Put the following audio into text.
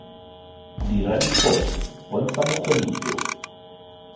dira diphoso bontsha bokgoni jo